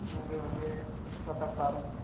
ਉਹ ਗਏ ਹੋਣਗੇ ਸਤ-ਅਠ ਸਾਲ।